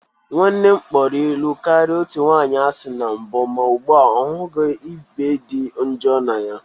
Nwanne m kpọrọ ịlụ karịa otu nwanyị asị na mbụ ma ugbu a ọ hụghị ịbe dị njọ na ya